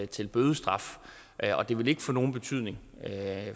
til bødestraf og det vil ikke få nogen betydning